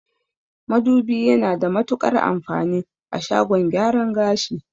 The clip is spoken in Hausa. Madubi yana da matuƙar amfani a shagon gyaran gashi